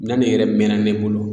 Minɛn nin yɛrɛ mɛna ne bolo